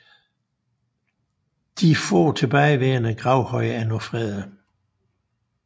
De få tilbageværende gravhøje er nu fredede